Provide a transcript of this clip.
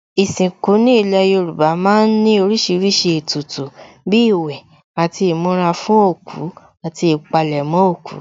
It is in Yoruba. Ìsìnkú ní ilé Yorùbá má ń ní oríṣiríṣi ètùtù bíi ìwẹ̀ àti ìmura fún òkú àti ìpalẹ̀mọ́ òkú